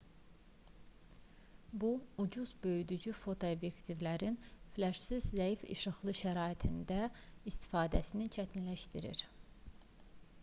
bu ucuz böyüdücü fotoobyektivlərin fleşsiz zəif işıqlı şəraitlərdə istifadəsini çətinləşdirir